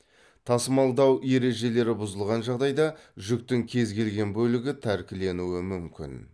тасымалдау ережелері бұзылған жағдайда жүктің кез келген бөлігі тәркіленуі мүмкін